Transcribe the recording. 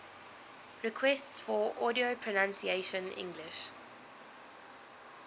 requests for audio pronunciation english